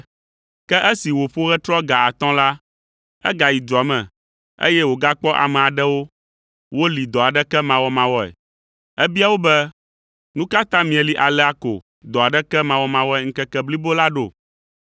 “Ke esi wòƒo ɣetrɔ ga atɔ̃ la, egayi dua me, eye wògakpɔ ame aɖewo woli dɔ aɖeke mawɔmawɔe. Ebia wo be, ‘Nu ka ta mieli alea ko dɔ aɖeke mawɔmawɔe ŋkeke blibo la ɖo?’